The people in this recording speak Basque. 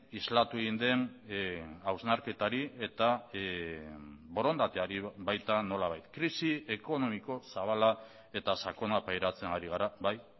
islatu egin den hausnarketari eta borondateari baita nolabait krisi ekonomiko zabala eta sakona pairatzen ari gara bai